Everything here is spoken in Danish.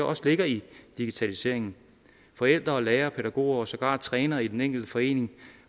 også ligger i digitaliseringen forældre lærere pædagoger og sågar også trænere i den enkelte forening